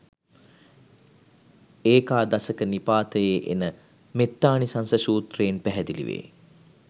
ඒකාදසක නිපාතයේ එන මෙත්තානිසංස සූත්‍රයෙන් පැහැදිලි වේ.